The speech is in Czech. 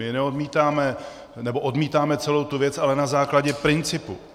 My neodmítáme - nebo odmítáme celou tu věc, ale na základě principu.